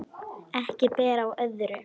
Ekki ber á öðru